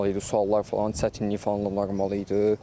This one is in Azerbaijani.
Suallar falan çətinlik falan normal idi.